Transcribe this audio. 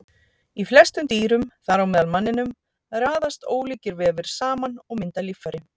Í flestum dýrum, þar á meðal manninum, raðast ólíkir vefir saman og mynda líffæri.